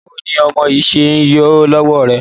Báwo ni ọmọ yìí ṣe ń yọ lọ́wọ́ rẹ?